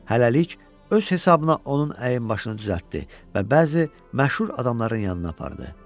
Hələlik öz hesabına onun əyn başını düzəltdi və bəzi məşhur adamların yanına apardı.